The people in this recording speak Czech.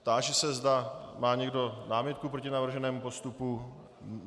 Táži se, zda má někdo námitku proti navrženému postupu.